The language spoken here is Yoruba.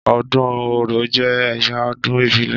Ọdún Orò jẹ́ ẹ̀yà ọdún ìbílẹ̀.